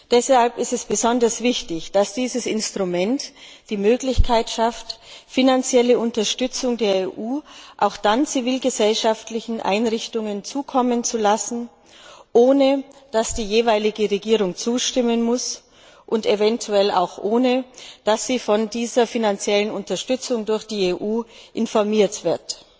Deshalb ist es besonders wichtig, dass dieses Instrument die Möglichkeit schafft, finanzielle Unterstützung der EU zivilgesellschaftlichen Einrichtungen zukommen zu lassen, ohne dass die jeweilige Regierung zustimmen muss und eventuell auch ohne dass sie über diese finanzielle Unterstützung durch die EU informiert wird.